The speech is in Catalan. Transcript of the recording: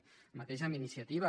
el mateix amb iniciativa